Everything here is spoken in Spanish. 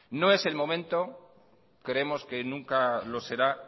no es el momento creemos que nunca lo será